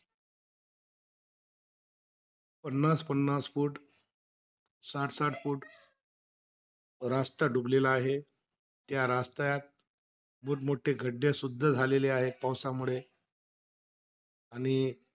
पन्नास-पन्नास कोट साठ-साठ कोट डुबलेला आहे. या त्यात मोठं मोठे खड्डे सुद्धा झालेले आहे, पावसामुळे. आणि,